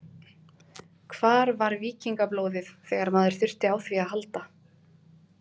Hvar var víkingablóðið þegar maður þurfti á því að halda.